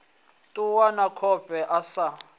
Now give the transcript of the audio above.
ṱuwa na khofhe a sa